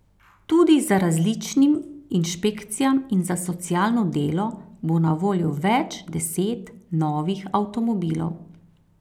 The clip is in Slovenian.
Tudi za različnim inšpekcijam in za socialno delo bo na voljo več deset novih avtomobilov.